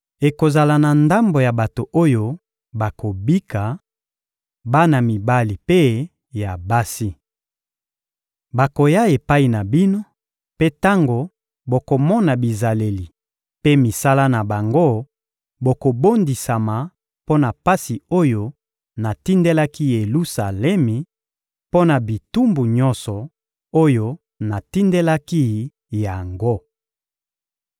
ekozala na ndambo ya bato oyo bakobika: bana mibali mpe ya basi. Bakoya epai na bino; mpe tango bokomona bizaleli mpe misala na bango, bokobondisama mpo na pasi oyo natindelaki Yelusalemi, mpo na bitumbu nyonso oyo natindelaki yango.